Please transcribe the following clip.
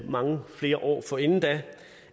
mange flere år forinden da